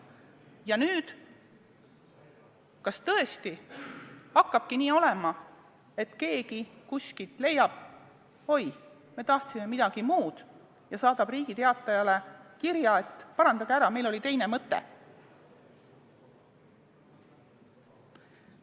Kas nüüd tõesti hakkabki nii olema, et keegi kuskil leiab, et oi, me tahtsime öelda midagi muud, ja saadab Riigi Teatajale kirja, et parandage ära, meil oli teine mõte.